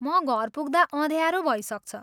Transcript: म घर पुग्दा अँध्यारो भइसक्छ।